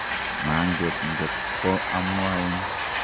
manget ngot ko amwaun